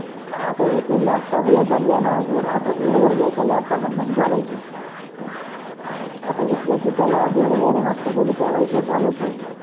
हा त ते लॅपटॉप हे तर घ्याना बेड अस बेड वर घ्यायचं लॅपटॉप आण मंग बोलायचं आता उटले तरी त्याला बेड वर मस्त पैकी ठेवायचं बोलायचं.